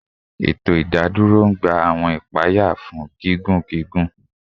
Eto idadoro n gba awọn ipaya fun gigun gigun